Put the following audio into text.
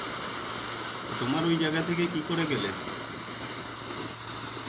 তা, তোমার ওই জায়গা থেকে কি করে গেলে?